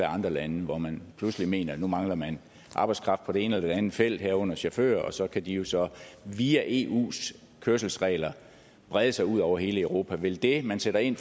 andre lande hvor man pludselig mener at nu mangler man arbejdskraft på det ene eller det andet felt herunder chauffører og så kan de jo så via eus kørselsregler brede sig ud over hele europa vil det man sætter ind